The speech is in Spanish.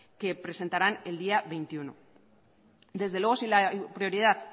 que presentarán el día veintiuno desde luego si la prioridad